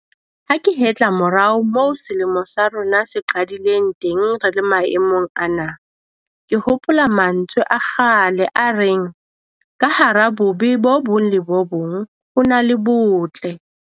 Ha ke hetla morao moo selemo sa rona se qadileng teng re le maemong ana, ke hopola mantswe a kgale a reng 'ka hara bobe bo bong le bo bong ho na le botle'.